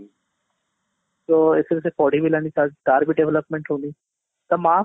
ତ ଏଥିରେ ସେ ପଢି ବି ହେଲାନି ତାର ତାର ବି development ହଉନି, ତା ମାଆ